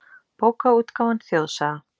Bókaútgáfan Þjóðsaga.